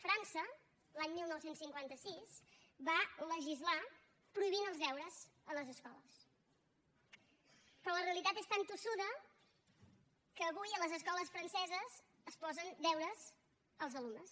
frança l’any dinou cinquanta sis va legislar prohibint els deures a les escoles però la realitat és tan tossuda que avui a les escoles franceses es posen deures als alumnes